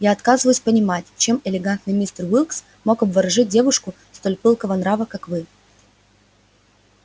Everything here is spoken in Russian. я отказываюсь понимать чем элегантный мистер уилкс мог обворожить девушку столь пылкого нрава как вы